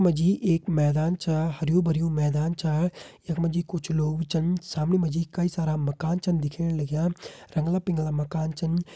मा जी मैदान छा हरयूं भरयूं मैदान छा। यख मा जी कुछ लोग छन। सामणी मा जी कई सारा मकान छन दिखेण लग्यां रंगला पिंगला मकान छन।